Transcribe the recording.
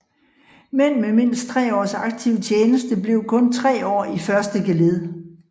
Mænd med mindst tre års aktiv tjeneste blev kun tre år i første geled